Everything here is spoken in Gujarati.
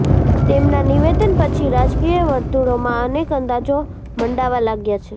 તેમના નિવેદન પછી રાજકીય વર્તુળોમાં અનેક અંદાજો મંડાવા લાગ્યા છે